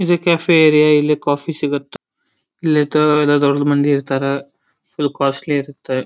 ಇದು cafe area ಇಲ್ಲಿ coffee ಸಿಗುತ್ತೆ. ಇಲ್ಲಿ ತಗೋಳೋರು ದೊಡ್ಡದು ಮಂದಿ ಇರ್ತಾರ ಇದು ಕಾಸ್ಟ್ಲಿ ಇರುತ್ತೆ.